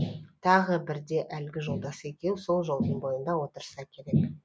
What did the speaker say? тағы бірде әлгі жолдасы екеуі сол жолдың бойында отырса керек